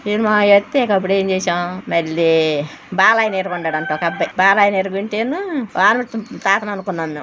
అప్పుడేం చేసాం మల్లి బాలయ్య నిరుకుంటాడంట ఒక అబ్బాయ్ బాలయ్య నిరుగుంటేను పార్వతి-తాతననుకున్నాం మేమ్.